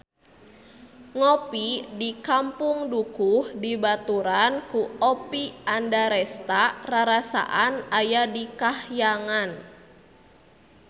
Ngopi di Kampung Dukuh dibaturan ku Oppie Andaresta rarasaan aya di kahyangan